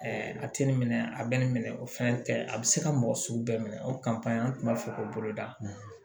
a tɛ nin minɛ a bɛ nin minɛ o fɛn tɛ a bɛ se ka mɔgɔ sugu bɛɛ minɛ o an tun b'a fɛ k'o boloda